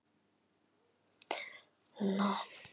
Þau hvísla því með að ég sé öðruvísi en þau.